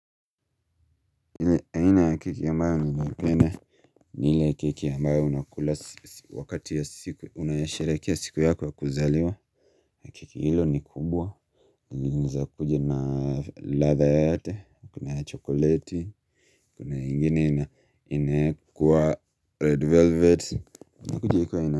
Ile aina ya keki ambayo ninaipenda ni ile ya keki ambayo unakula wakati ya siku unasherekea siku yako ya kuzaliwa. Ya keki hilo ni kubwa inaeza kuja na ladha yoyote kuna ya chokoleti. Kuna ingine inaekwa red velvet inakuja ikiwa ina.